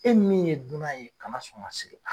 E min ye dunan ye kana sɔn ka sigi.